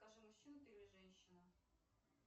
скажи мужчина ты или женщина